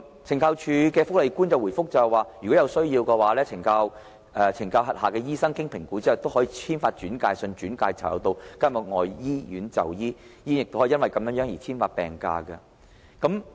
懲教署福利官回覆說，如果有需要，懲教署轄下的醫生經評估後可以簽發轉介信，轉介囚友到監獄外的醫院就醫，醫院也可以就此簽發病假。